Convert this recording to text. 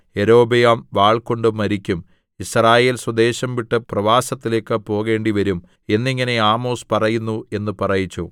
യൊരോബെയാം വാൾകൊണ്ടു മരിക്കും യിസ്രായേൽ സ്വദേശം വിട്ട് പ്രവാസത്തിലേക്കു പോകേണ്ടിവരും എന്നിങ്ങനെ ആമോസ് പറയുന്നു എന്ന് പറയിച്ചു